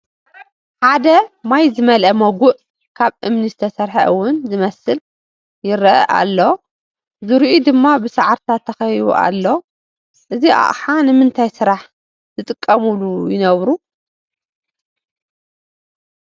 ሓደ ማይ ዝመልአ ሞጉእ ካብ እምኒ ዝተሰርሐ ውን ዝመስል ይረአ ኣሎ፡፡ ዙርዩኡ ድማ ብሳዕርታት ተኸቢቡ ኣሎ፡፡ እዚ ኣቕሓ ንምንታይ ስራሕ ዝጥቀምሉ ይነብር?